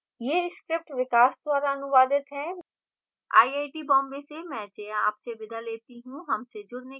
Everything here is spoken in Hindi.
यह script विकास द्वारा अनुवादित है